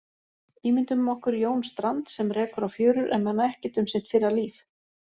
Ímyndum okkur Jón Strand, sem rekur á fjörur en man ekkert um sitt fyrra líf.